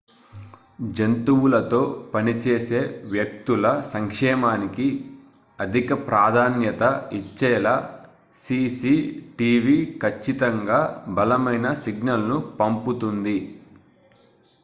"""జంతువులతో పని చేసే వ్యక్తుల సంక్షేమానికి అధిక ప్రాధాన్యత ఇచ్చేలా సిసి టీవి ఖచ్చితంగా బలమైన సిగ్నల్‌ను పంపుతుంది.""